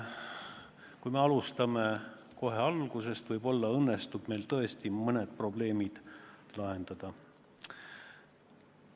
Kui me alustame seda kohe koosseisu alguses, võib-olla siis õnnestub tõesti mõned probleemid lahendada.